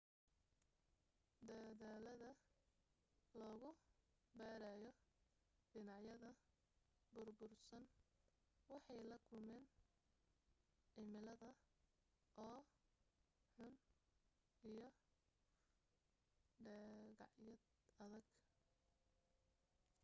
dadaalada lagu baarayo dhinacyada burbursan waxay la kulmeen cimilada oo xun iyo dhagacyad adag